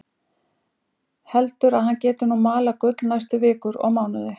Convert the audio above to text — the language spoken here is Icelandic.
Heldur að hann geti nú malað gull næstu vikur og mánuði.